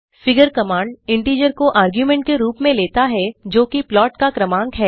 figure command integer को तर्कargument के रुप में लेता है जोकि प्लाट का क्रमांक है